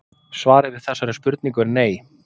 Svarið við þessari spurningu er nei.